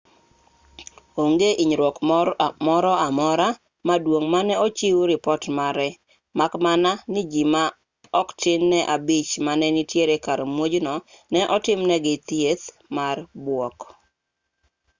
onge hinyruok moro amora maduong' mane ochiw ripot mare mak mana ni ji ma oktin ne abich mane nitiere kar muojno ne otimnegi thieth mar buok